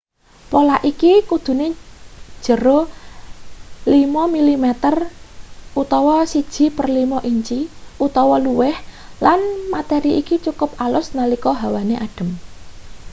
pola iki kudune jero 5 mm 1/5 inci utawa luwih lan materi iki cukup alus nalika hawane adem